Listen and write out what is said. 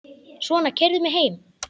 Svona, keyrðu mig heim.